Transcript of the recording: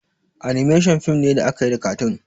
"Animations" fim ne da akayi da katun